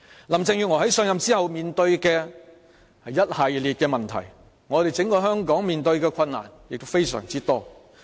林鄭月娥在上任後面對一系列問題，而整個香港所面對的困難亦非常多。